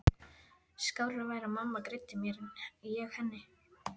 Skárra væri að mamma greiddi mér en ég henni.